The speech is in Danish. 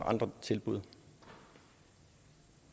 andre tilbud